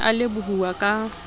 o ne a lebohuwa ka